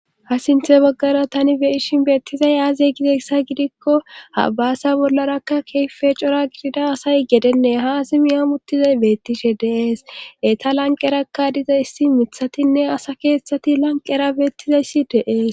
ha sinthe baggara tani beishin beettizay aaze gidessa gidikko habaasa bollarakka keefe cora gidida asay gedenne ha asimiyamuttizay beettishe deees eta lanqerakka diza issi mithatinne asa keeththati lanqera beettizayssi deees